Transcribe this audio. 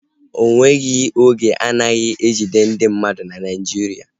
Ọnweghi oge anaghị ejide ndị mmadụ na Naijiria